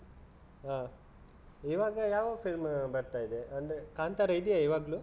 ಹ ಇವಾಗ ಯಾವ film ಬರ್ತಾ ಇದೆ ಅಂದ್ರೆ ಕಾಂತಾರ ಇದೆಯಾ ಇವಾಗ್ಲೂ?